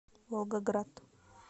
волгоград